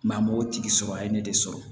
m'o tigi sɔrɔ a ye ne de sɔrɔ